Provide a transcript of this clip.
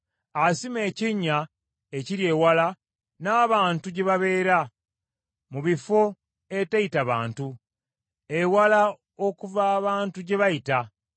Asima ekinnya ekiri ewala n’abantu gye babeera, mu bifo eteyita bantu, ewala okuva abantu gye bayita.